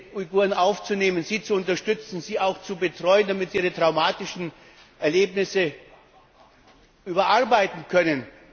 bereit, diese Uiguren aufzunehmen, sie zu unterstützen, sie auch zu betreuen, damit sie ihre traumatischen Erlebnisse verarbeiten können.